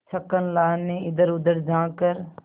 छक्कन लाल ने इधरउधर झॉँक कर